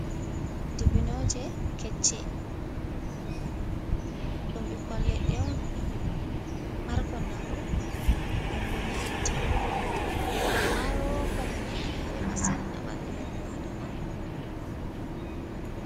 Dibbinoje kecche, ɗum ɓikkon leɗɗe on markon nafu ndem bo nyame tekon, maro rokon himmiɗi nare masin ha bandu innu adama.